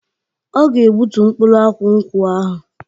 Ọ ga egbutu mkpụrụ akwụ nkwụ ahu.